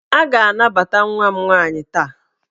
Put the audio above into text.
A ga-anabata nwa m nwaanyị taa!